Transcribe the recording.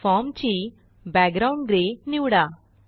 form ची background grey निवडा